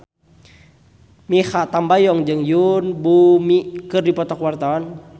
Mikha Tambayong jeung Yoon Bomi keur dipoto ku wartawan